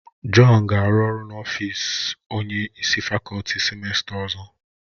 Jọn ga-arụ ọrụ n'ọfịs onye isi fakọlti sịmesta ọzọ